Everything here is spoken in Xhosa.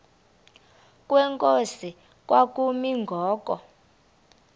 kwenkosi kwakumi ngoku